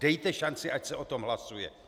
Dejte šanci, ať se o tom hlasuje.